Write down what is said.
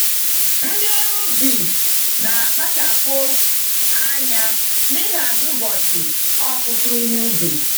Ndị ọrụ ubi na akpachapụ anya n'ihazi ụbọchị ọkụkụ ihe ubi.